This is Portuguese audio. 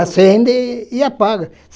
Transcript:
Acende e apaga.